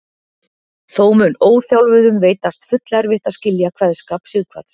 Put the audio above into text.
Þó mun óþjálfuðum veitast fullerfitt að skilja kveðskap Sighvats.